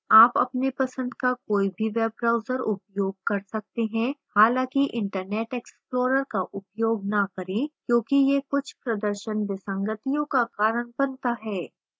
आप अपने पसंद का कोई भी web browser उपयोग कर सकते हैं